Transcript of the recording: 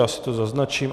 Já si to zaznačím.